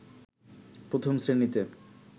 প্রথম শ্রেণীতে